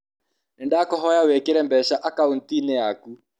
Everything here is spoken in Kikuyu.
Nĩ ndakũhoya wĩkĩre mbeca akaũnti-inĩ yaku.